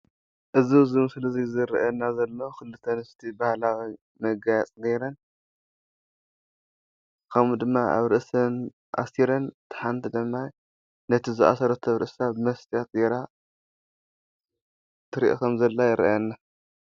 እዚ ኣብዚ ምስሊ ዝርኣየና ዘሎ ክልተ ኣንስቲ ባህላዊ መጋየፂ ገረን ከምኡ ድማ ኣብ ርእሰን ኣሲረን እታ ሓንቲ ድማ ነቲ ዝኣሰረቶ ኣብ ርእሳ መስትያት ገራ ትርኦ ከምዘላ ይርኣየና።